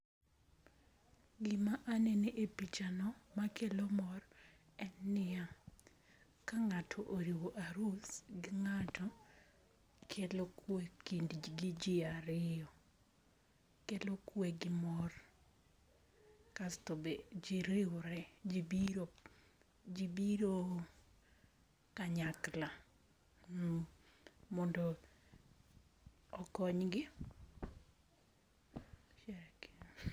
Gima anene e pichano makelo mor en niya, ka ng'ato oriwo arus gi ng'ato, kelo kwe e kindji gi jiario, kelo kwe gi mor kasto be ji riure, ji biro ji biro kanyakla mm mondo okonygi.